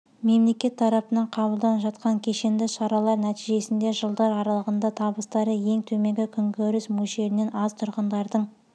мемлекет тарапынан қабылданып жатқан кешенді шаралар нәтижесінде жылдар аралығында табыстары ең төменгі күнкөріс мөлшерінен аз тұрғындардың